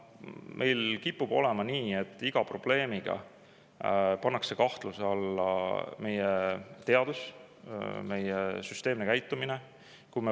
Meil kipub olema nii, et iga probleemi korral pannakse kahtluse alla meie teadus, meie süsteemne käitumine.